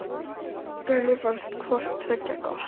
Henni fannst hvort tveggja gott.